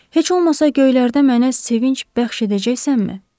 Heç olmasa göylərdən mənə sevinc bəxş edəcəksənmi?